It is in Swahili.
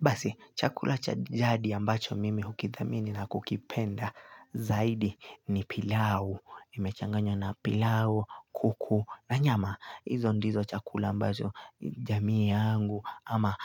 Basi, chakula cha jadi ambacho mimi hukidhamini na kukipenda zaidi ni pilau. Imechanganywa na pilau, kuku na nyama. Hizo ndizo chakula ambazo jamii yangu ama